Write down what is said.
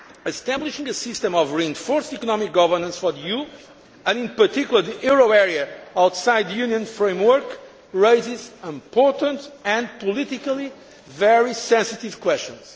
manner. Establishing a system of reinforced economic governance for the EU, and in particular the euro area outside the Union framework, raises important, and politically very sensitive, questions.